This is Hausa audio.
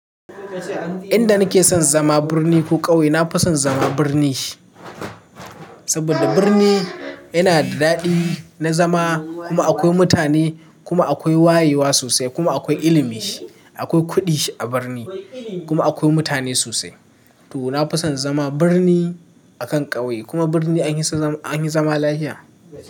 Inda nake son zama birni ko ƙauye? Na fi son zama birni saboda birni yana da daɗi na zama. Kuma akwai mutane kuma akwai wayewa sosai kuma akwai ilimi. Akwai kuɗi a birni kuma akwai mutane sosai. To na fi son zama birni akan ƙauye kuma birni anhisa zama anyi zama lafiya.